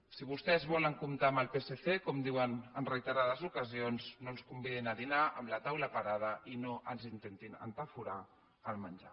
si vostès volen comptar amb el psc com diuen en rei terades ocasions no ens convidin a dinar amb la taula parada i no ens intentin entaforar el menjar